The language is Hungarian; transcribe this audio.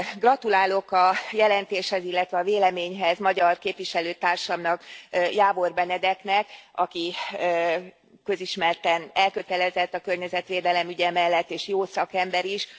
Gratulálok a jelentéshez, illetve a véleményhez magyar képviselőtársamnak, Jávor Benedeknek, aki közismerten elkötelezett a környezetvédelem ügye mellett, és jó szakember is.